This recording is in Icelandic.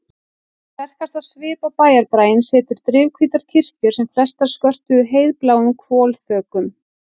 Sterkastan svip á bæjarbraginn settu drifhvítar kirkjur sem flestar skörtuðu heiðbláum hvolfþökum.